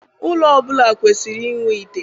Ụlọ ọbụla kwesiri inwe ite.